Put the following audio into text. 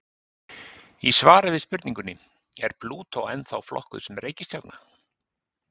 Í svari við spurningunni Er Plútó ennþá flokkuð sem reikistjarna?